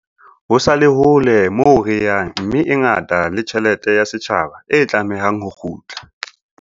Ho sa le hole moo re yang mme e ngata le tjhelete ya setjhaba e tlamehang ho kgutla.